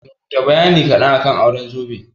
Rubuta bayani kaɗan akan auren zobe?